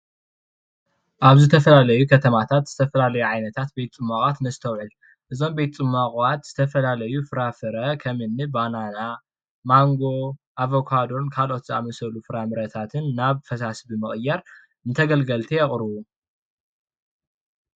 አብ ዝተፈላለዩ ከተማታት ዝተፈላለዩ ዓይነታት ቤት ፅሟቃት ነስተውዕል እዞም ቤት ፅሟቃት ዝተፈላለዩ ፍራፍረ ከምኒ ባናና፣ ማንጎ ፣አቨካዶ ካልኦት ዝአመሰሉ ፍራምረታትን ናብ ፈሳሲ ብምቅያር ንተገልገልቲ የቅርቡ ።